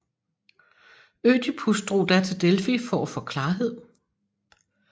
Ødipus drog da til Delfi for at få klarhed